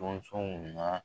sonw na